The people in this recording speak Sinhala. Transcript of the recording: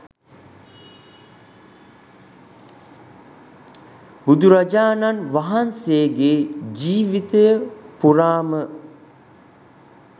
බුදුරජාණන් වහන්සේගේ ජීවිතය පුරාම